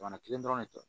Jamana kelen dɔrɔn de tɛ